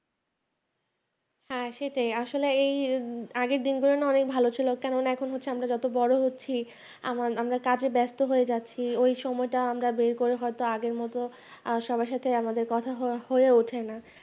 হ্যাঁ সেটাই আসলে এই আগের দিনগুলো না অনেক ভালো ছিল কারণ এখন আমরা যত বড় হচ্ছি আমি আমরা কাজে ব্যস্ত হয়ে যাচ্ছি ওই সময়টা আমরা বের করে হয়তো আগে আগের মত আহ সবার সাথে কথা হয় হয়ে ওঠে না।